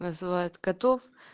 называют котов